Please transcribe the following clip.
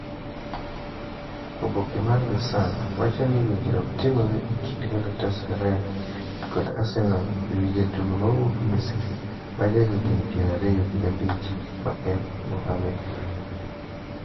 Oboke mar the Sun wacho ni winjruok timre e kind Galatasaray kod Arsenal e wi jatugo mawuok Misri ma jahigni pier ariyo gi abich ma en Mohamed Elneny.